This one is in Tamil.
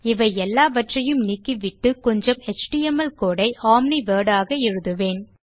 இவை எல்லாவற்றையும் நீக்கிவிட்டு கொஞ்சம் எச்டிஎம்எல் கோடு ஐ ஒம்னி வோர்ட் ஆக எழுதுவதுவேன்